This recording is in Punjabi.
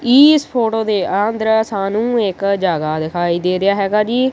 ਈਸ ਫ਼ੋਟੋ ਦੇ ਅੰਦਰ ਸਾਨੂੰ ਇੱਕ ਜਗਹਾ ਦਿਖਾਈ ਦੇ ਰਿਹਾ ਹੈਗਾ ਜੀ।